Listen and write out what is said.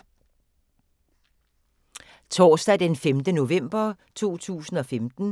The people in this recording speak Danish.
Torsdag d. 5. november 2015